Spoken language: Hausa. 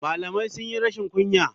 Malamai sunyi rashin kunya.